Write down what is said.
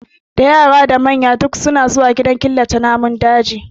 Da manya da yara duk ana zuwa gidan killace namun daji